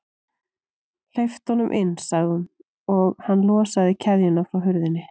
Hleyptu honum inn sagði hún, og hann losaði keðjuna frá hurðinni.